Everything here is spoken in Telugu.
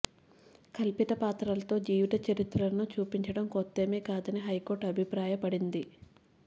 కల్పిత పాత్రలతో జీవిత చరిత్రలను చూపించడం కొత్తేమీ కాదని హైకోర్టు అభిప్రాయపడింది